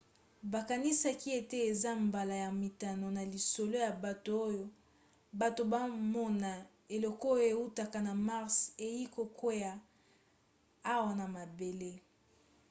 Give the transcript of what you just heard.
bakanisaka ete eza mbala ya mitano na lisolo ya bato oyo bato bamona eloko oyo eutaka na mars eyei kokwea awa na mabele